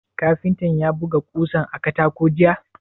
Kafintan ya buga ƙosan a katako jiya?